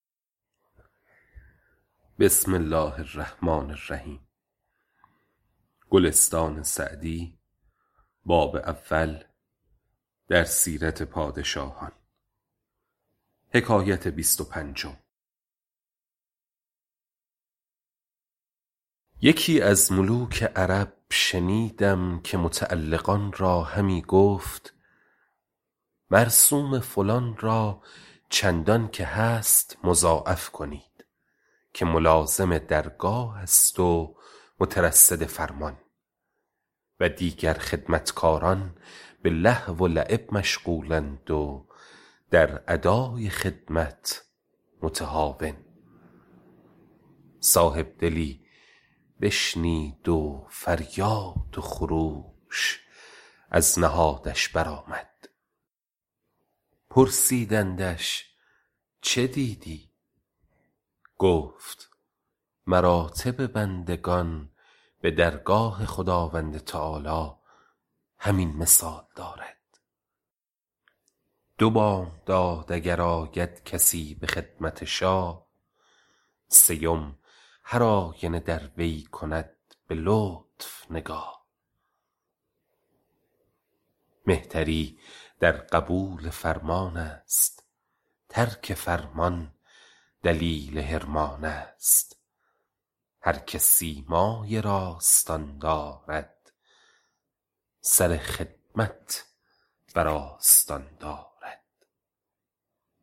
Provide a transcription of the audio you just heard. یکی از ملوک عرب شنیدم که متعلقان را همی گفت مرسوم فلان را چندان که هست مضاعف کنید که ملازم درگاه است و مترصد فرمان و دیگر خدمتکاران به لهو و لعب مشغول اند و در ادای خدمت متهاون صاحب دلی بشنید و فریاد و خروش از نهادش بر آمد پرسیدندش چه دیدی گفت مراتب بندگان به درگاه خداوند تعالیٰ همین مثال دارد دو بامداد اگر آید کسی به خدمت شاه سیم هرآینه در وی کند به لطف نگاه مهتری در قبول فرمان است ترک فرمان دلیل حرمان است هر که سیمای راستان دارد سر خدمت بر آستان دارد